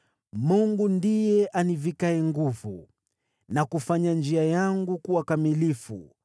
Mungu ndiye anivikaye nguvu na kufanya njia yangu kuwa kamilifu.